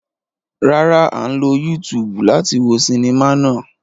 Rárá, a ń lo YouTube láti wo sẹminá náà.